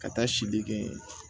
Ka taa sili kɛ yen